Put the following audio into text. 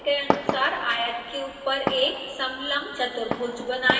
दिखाए गए अनुसार आयत के ऊपर एक समलंब चतुर्भुज बनाएँ